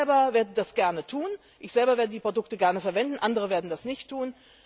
das Recht zu entscheiden! Ich selber werde das gerne tun, ich selber werde die Produkte gerne verwenden. Andere